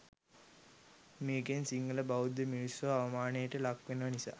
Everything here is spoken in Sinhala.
මේකෙන් සිංහල බෞද්ධ මිනිස්සු අවමානයට ලක් වෙන නිසා.